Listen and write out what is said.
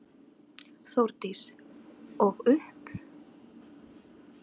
Þórdís: Og upp?